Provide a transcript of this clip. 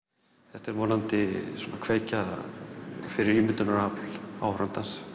þetta er vonandi kveikja fyrir ímyndunarafl áhorfandans